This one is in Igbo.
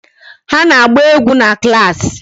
Ha na-agba egwu na klaasị.